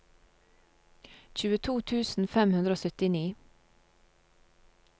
tjueto tusen fem hundre og syttini